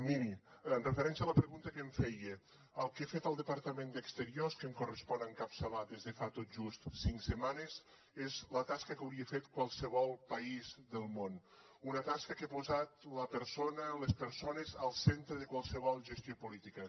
miri amb referència a la pregunta que em feia el que ha fet el departament d’exteriors que em correspon encapçalar des de fa tot just cinc setmanes és la tasca que hauria fet qualsevol país del món una tasca que ha posat la persona les persones al centre de qualsevol gestió política